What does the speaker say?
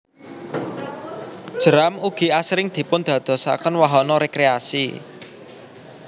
Jeram ugi asring dipun dadosaken wahana rekreasi